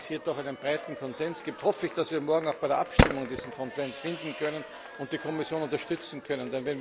Nachdem es hier doch einen breiten Konsens gibt, hoffe ich, dass wir morgen auch bei der Abstimmung diesen Konsens finden und die Kommission unterstützen können.